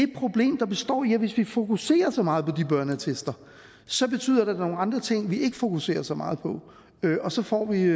det problem der består i at hvis vi fokuserer så meget på de børneattester så betyder der er nogle andre ting vi ikke fokuserer så meget på og så får vi